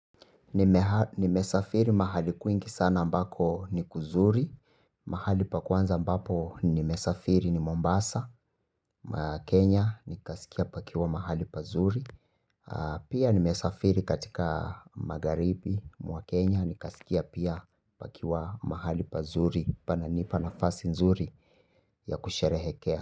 Nimesafiri mahali kwingi sana ambako ni kuzuri. Mahali pa kwanza ambapo nimesafiri ni Mombasa, Kenya ni kasikia pakiwa mahali pazuri. Pia nimesafiri katika magharibi mwa Kenya ni kasikia pia pakiwa mahali pazuri. Pananipa nafasi nzuri ya kusherehekea.